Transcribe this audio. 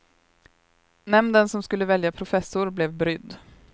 Nämnden som skulle välja professor blev brydd.